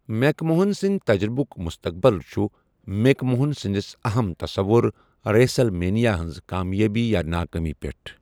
Make Mohan سنٛدۍ تَجرُبُک مستقبل چھُ میک موہن سنٛدِس اَہَم تَصَوُر، ریسل مینیا ہنٛز کامیٲبی یا ناکٲمی پٮ۪ٹھ۔